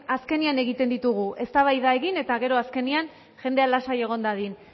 azkenean egiten ditugu eztabaida egin eta gero azkenean jendea lasai egon dadin